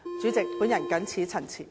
主席，我謹此陳辭。